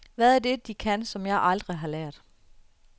Hvad er det, de kan, som jeg aldrig har lært?